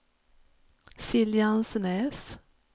Siljansnäs